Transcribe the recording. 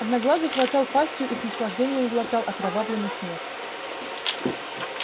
одноглазый хватал пастью и с наслаждением глотал окровавленный снег